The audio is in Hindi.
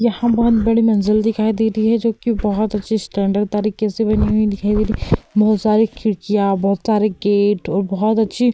यहाँ बहोत बड़ी मंजिल दिखाई दे रही है जोकि बहोत अच्छे स्टैण्डर्ड तरीके से बनी हुई दिखाई दे रही है। बहोत सारी खिड़कियां बहोत सारे गेट और बहोत अच्छी --